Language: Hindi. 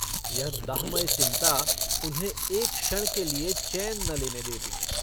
यह दाहमय चिन्ता उन्हें एक क्षण के लिए चैन न लेने देती।